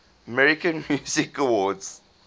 american music awards